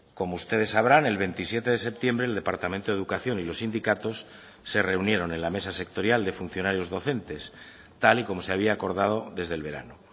como ustedes sabrán el veintisiete de septiembre el departamento de educación y los sindicatos se reunieron en la mesa sectorial de funcionarios docentes tal y como se había acordado desde el verano